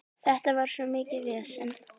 Þetta var svo mikið vesen.